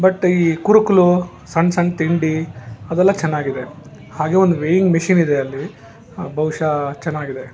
ಮತ್ತೆ ಈ ಕುರು ಕುಲು ಸಣ್ಣ ಸಣ್ಣ ತಿಂಡಿ ಅದೆಲ್ಲ ಚೆನ್ನಾಗಿದೆ ಹಾಗೆ ಒಂದು ವೇಯಿಂಗ್ ಮಷೀನ್ ಇದೆ ಅಲ್ಲಿ ಬಹುಶಃ ಚೆನ್ನಾಗಿದೆ.